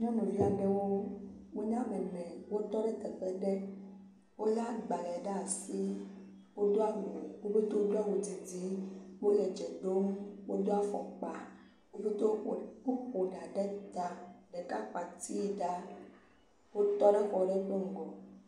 Nyɔnuvi aɖewo. Wonye ame ene wotɔ ɖe teƒe ɖe. Wole agbale ɖe asi. Wodo awu. Wo ƒe togewo didi wodo awu didi. Wole dze ɖom. Wodo afɔkpa. Wodo ku ƒo ɖa ɖe ta. Ɖeka ƒo ati ɖa. wotɔ ɖe xɔ ɖe ƒe ŋgɔ.